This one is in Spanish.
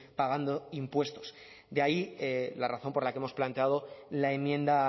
pagando impuestos de ahí la razón por la que hemos planteado la enmienda